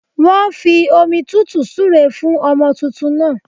Wọn fi omi tútù súre fún ọmọ tuntun náà